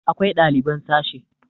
akwai ɗaliban sashe